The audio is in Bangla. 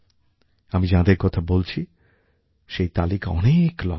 আমি যাঁদের কথা বলছি সেই তালিকা অনেক লম্বা